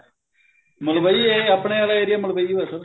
ਮਲਵਈ ਇਹ ਆਪਣੇ ਆਲਾ area ਮਲਵਈ ਹੀ ਹੈ sir